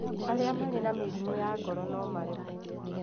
Arĩa marĩ na mĩrimũ ya ngoro no maremwo